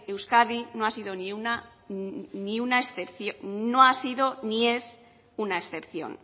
euskadi no ha sido ni es una excepción